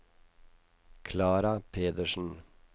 Klara Pedersen